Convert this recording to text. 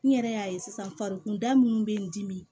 N yɛrɛ y'a ye sisan farikunda minnu bɛ n dimi